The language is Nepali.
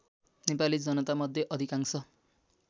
नेपाली जनतामध्ये अधिकांश